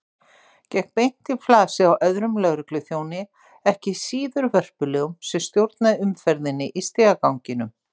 Gekk beint í flasið á öðrum lögregluþjóni, ekki síður vörpulegum, sem stjórnaði umferðinni í stigaganginum.